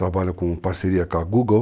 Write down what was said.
Trabalha com parceria com a Google.